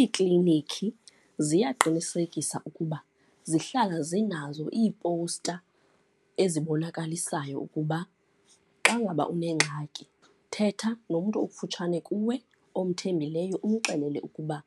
Iiklinikhi ziyaqinisekisa ukuba zihlala zinazo iipowusta ezikubonakalisayo ukuba xa ngaba unengxaki, thetha nomntu okufutshane kuwe omthembileyo umxelele ukuba